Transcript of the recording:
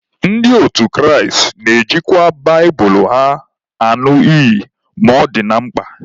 Ndị otu Kraịst na-ejikwa baịbụlụ ha añụ iyi ma ọ dị na mkpa.